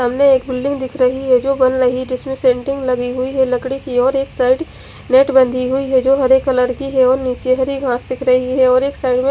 सामने एक बिल्डिंग दिख रही है जो लही जिसमे सेंटिंग लगी हुई है लकड़ी की और एक साइड नेट बंधी हुई है जो हरे कलर की है और निचे हरी घास दिख रही है और एक साइड में--